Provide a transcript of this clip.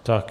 Tak.